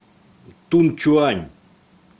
тунчуань